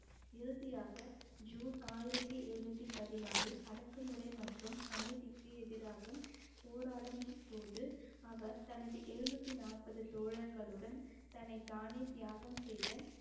இறுதியாக ஜூன் ஆயிரத்தி எழுநூத்தி பதினாறு அடக்குமுறை மற்றும் அநீதிக்கு எதிராக போராடும் போது அவர் தனது எழுநூத்தி நாற்பது தோழர்களுடன் தன்னைத்தானே தியாகம் செய்து